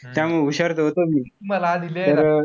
त्यामुळे हुशार त होतोच मी. मला आधी लिहायला,